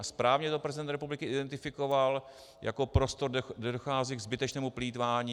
A správně to prezident republiky identifikoval jako prostor, kde dochází ke zbytečnému plýtvání.